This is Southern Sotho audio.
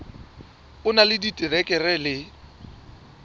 o na le diterekere le